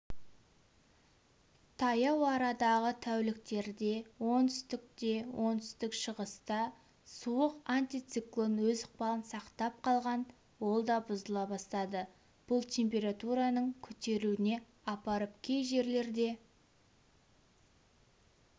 таяу арадағы тәуліктерде оңтүстікте оңтүстік-шығыста суық антициклон өз ықпалын сақтап қалған ол да бұзыла бастады бұл температураның көтерілуіне апарып кей жерлерде